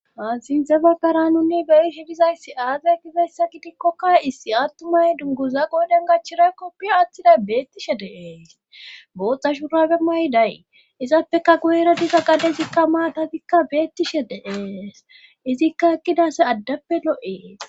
Maasinzebatara nunni beyi hidizayssi aade gizeyssa gidikkokka issi attumay dunguza qooden gachira koppiyo attiday beettishe deee gooxxa shurabe may day izappeka goyeradisa qade zikka maatatikka beettishe deees izikka ekqidase addappe lo'ee